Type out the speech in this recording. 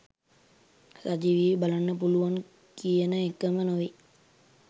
සජීවීව බලන්න පුළුවන් කියන එකම නෙවෙයි.